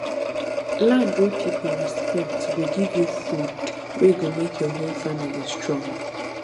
land wey people respect go give you food wey go make your whole family strong